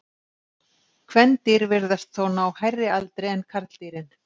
Kvendýr virðast þó ná hærri aldri en karldýrin.